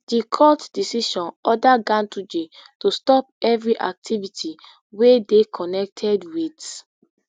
di court decision order ganduje to stop evri activity wey dey connected wit